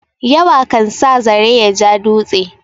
Yawa kan sa zare ya ja dutse.